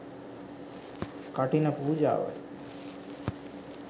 කඨින පූජාවයි.